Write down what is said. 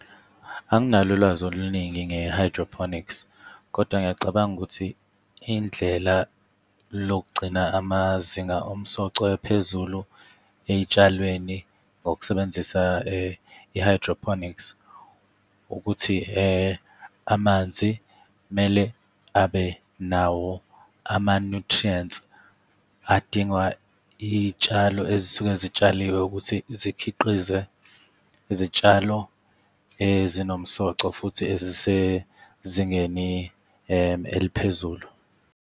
Anginalo ulwazi oluningi nge-hydroponics kodwa ngiyacabanga ukuthi indlela lokugcina amazinga omsoco aphezulu ey'tshalweni ngokusebenzisa i-hydroponics, ukuthi amanzi kumele abe nawo ama-nutrients adingwa iy'tshalo ezisuke zitshaliwe ukuthi zikhiqize izitshalo ezinomsoco futhi ezisezingeni eliphezulu.